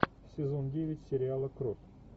сезон девять сериала кровь